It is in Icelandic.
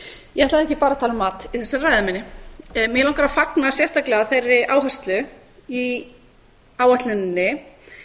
ég ætlaði ekki bara að tala um mat í þessari ræðu minni mig langar að fagna sérstaklega þeirri áherslu í áætluninni